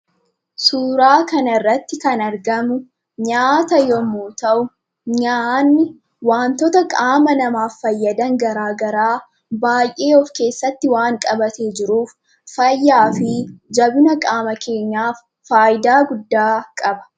Suuraa kanarratti kan argamu nyaata yommuu ta'u; nyaanni wantoota qaama namaaf fayyadan garaa garaa baay'ee of keessatti waan qabatee jiruuf, fayyaa fi jabina qaama keenyaaf faayidaa guddaa qaba.